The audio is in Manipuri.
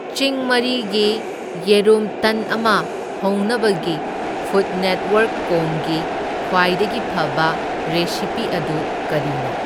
ꯆꯤꯡ ꯃꯔꯤꯒꯤ ꯌꯦꯔꯨꯝ ꯇꯟ ꯑꯃ ꯍꯧꯅꯕꯒꯤ ꯐꯨꯗꯅꯦꯠꯋꯥꯔꯛꯀꯣꯝꯒꯤ ꯈ꯭ꯋꯥꯏꯗꯒꯤ ꯐꯕ ꯔꯦꯁꯤꯄꯤ ꯑꯗꯨ ꯀꯔꯤꯅꯣ?